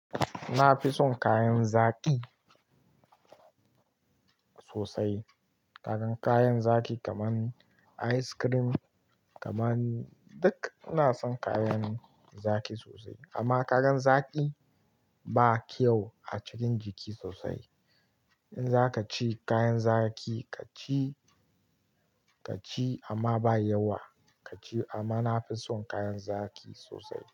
Na fi son kayan zaki sosai, kagan kayan zaki kaman ice cream kaman duk ina son kayan zaki sosai. Amma kagan zaki ba kyau a cikin jiki sosai. In za ka ci kayan zaki ka ci, ka ci amma ba yawa ka ci. Amma na fi son kayan zaki sosai.